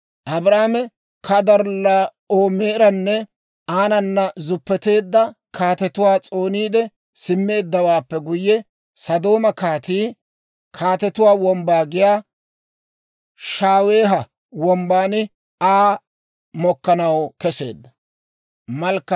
Abraame Kadorllaa'oomeranne aanana zuppeteedda kaatetuwaa s'ooniide simmeeddawaappe guyye, Sodooma kaatii, (Kaatetuwaa Wombbaa giyaa) Shaaweeha Wombban Aa mokkanaw keseedda.